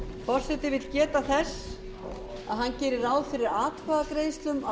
forseti vill geta þess að hann gerir ráð fyrir atkvæðagreiðslum að